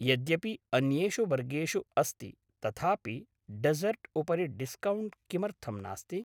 यद्यपि अन्येषु वर्गेषु अस्ति तथापि डेस्सर्ट् उपरि डिस्कौण्ट् किमर्थम् नास्ति?